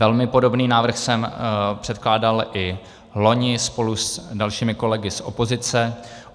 Velmi podobný návrh jsem předkládal i vloni spolu s dalšími kolegy z opozice.